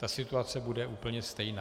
Ta situace bude úplně stejná.